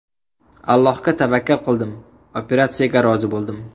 Allohga tavakkal qildim, operatsiyaga rozi bo‘ldim.